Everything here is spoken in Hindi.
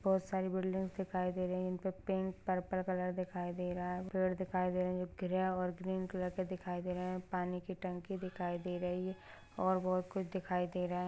बहुत सारी बिल्डिंग दिखाई दे रहे इनपे पिंक पर्पल कलर दिखाई दे रहा है पेड़ दिखाई रहे ग्रे और ग्रीन कलर के दिखाई दे रहे पानी की टंकी दिखाई दे रही है और बहुत कुछ दिखाई दे रहा है।